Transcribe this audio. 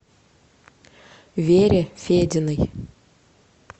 вере фединой